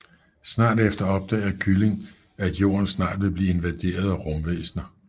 Snart efter opdager kylling at jorden snart vil blive invaderet af rumvæsner